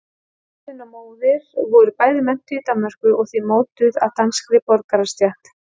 Faðir minn og móðir voru bæði menntuð í Danmörku og því mótuð af danskri borgarastétt.